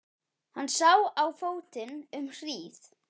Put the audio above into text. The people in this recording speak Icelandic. Hann sá á fótinn um hríð.